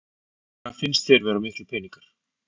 Hvað finnst þér vera miklir peningar?